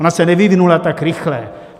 Ona se nevyvinula tak rychle.